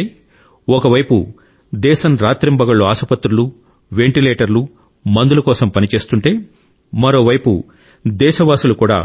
అంటే ఒకవైపు దేశం రాత్రింబగళ్లు ఆసుపత్రులు వెంటిలేటర్లు మందుల కోసం పరని చేస్తుంటే మరోవైపు దేశవసూలు కూడా